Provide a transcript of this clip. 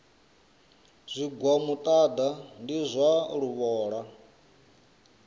zwigwa muṱaḓa ndi zwa luvhola